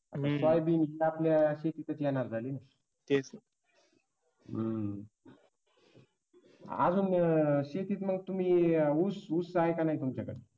Soybean आपल्या शेतीतच येणारच ना हम्म अजून शेतीत मग ऊस ऊस आहे का नाही तुमच्याकडे?